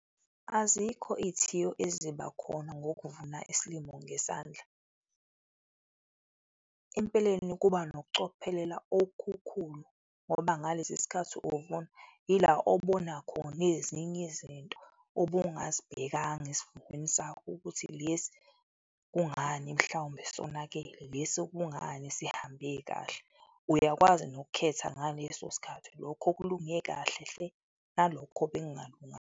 Azikho izithiyo eziba khona ngokukuvuna isilimo ngesandla. Empeleni, kuba nokucophelela okukhulu ngoba ngalesi sikhathi uvuna, ila obona khona ezinye izinto obungazibhekanga esivunweni sakho ukuthi lesi kungani mhlawumbe sonakele? Lesi kungani sihambe kahle? Uyakwazi nokukhetha ngaleso sikhathi, lokho okulunge kahle hle nalokho .